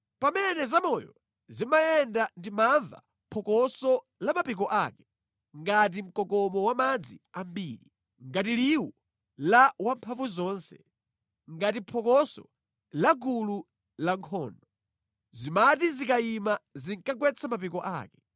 Pamene zamoyo zimayenda ndimamva phokoso la mapiko ake, ngati mkokomo wa madzi ambiri, ngati liwu la Wamphamvuzonse, ngati phokoso la gulu lankhondo. Zimati zikayima zinkagwetsa mapiko ake.